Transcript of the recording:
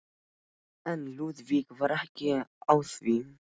En Lúðvík var ekki á því.